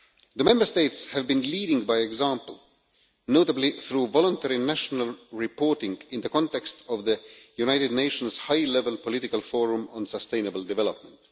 The Member States have been leading by example, notably through voluntary national reporting in the context of the United Nations High Level Political Forum on Sustainable Development.